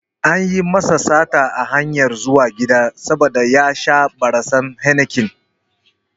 Anyi masa sata a hanyar zuwa gida saboda ya sha barasan Heineken